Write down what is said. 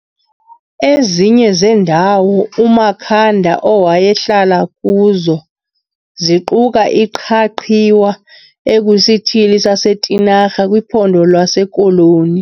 Ezinye zendawo uMakhanda owayehlala kuzo ziquka iQhaqhiwa ekwisithili saseTinarha kwiPhondo lwaseKoloni.